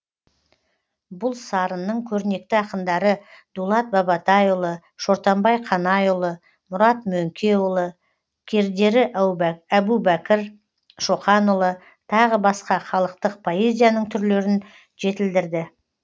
бұл сарынның көрнекті ақындары дулат бабатайұлы шортанбай қанайұлы мұрат мөңкеұлы кердері әбубәкір шоқанұлы тағы басқа халықтық поэзияның түрлерін жетілдірді